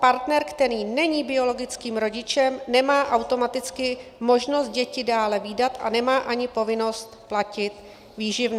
partner, který není biologickým rodičem, nemá automaticky možnost děti dále vídat a nemá ani povinnost platit výživné.